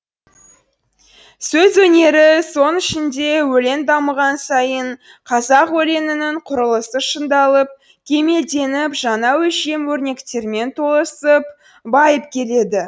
сөз өнері соның ішінде өлең дамыған сайын қазақ өлеңінің құрылысы шыңдалып кемелденіп жаңа өлшем өрнектермен толысып байып келеді